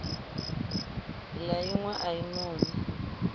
la inwe a i noni